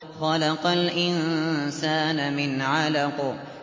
خَلَقَ الْإِنسَانَ مِنْ عَلَقٍ